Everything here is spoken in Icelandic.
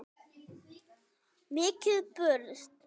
Mikið burst.